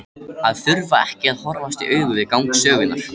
Að þurfa ekki að horfast í augu við gang sögunnar.